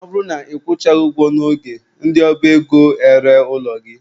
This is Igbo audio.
Ọ bụrụ na ị kwụchaghị ụgwọ n'oge, ndị ọba ego eree ụlọ gị.